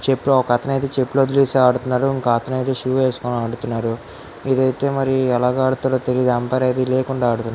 చుట్టూ ఒక అతను అయితే చెప్పులు వదిలేసి ఆడుతున్నాడు ఇంకో అతను అయితే షూ వేసుకుని ఆడుతున్నారు ఇదైతే మరి ఎలా ఆడతారో తెలియదు ఎంపైర్ అయితే లేకుండా ఆడుతున్నారు.